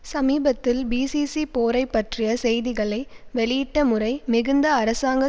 சமீபத்தில் பிசிசி போரை பற்றிய செய்திகளை வெளியிட்ட முறை மிகுந்த அரசாங்க